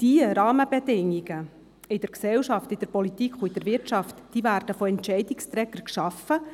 Diese Rahmenbedingungen in der Gesellschaft, in der Politik und in der Wirtschaft werden von Entscheidungsträgern geschaffen –